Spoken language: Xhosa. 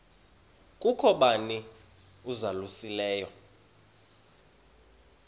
kukho bani uzalusileyo